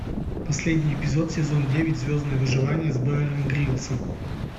последний эпизод сезон девять звездное выживание с беаром гриллсом